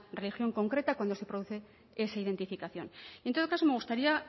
religión concreta cuando se produce esa identificación en todo caso me gustaría